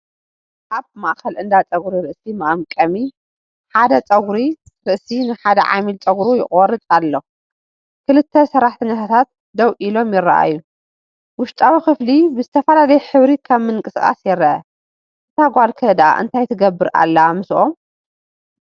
ኣብ ማእከል እንዳ ጸጉሪ ርእሲ መቐምቀሚ፣ ሓደ ጸጉሪ ርእሲ ንሓደ ዓሚል ጸጉሩ ይቖርጽ ኣሎ፡ ክልተ ሰራሕተኛታት ደው ኢሎም ይረኣዩ፡ ውሽጣዊ ክፍሊ ብዝተፈላለየ ሕብሪ ከም ምንቅስቓስ ይረአ፡፡ እታ ጓል ከ ዳኣ እንታይ ትገብር ኣላ ምስኦም?